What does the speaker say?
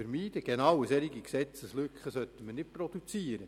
Gerade eine solche Gesetzeslücke sollten wir nicht produzieren!